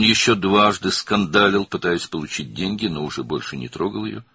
O, pul almağa çalışaraq daha iki dəfə qalmaqal saldı, lakin artıq ona toxunmadı.